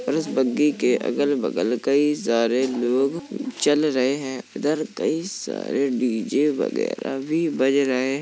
और इस बग्गी के अगल बगल कई सारे लोग चल रहे है इधर कई सारे डी.जे. वगैरह भी बज रहे है।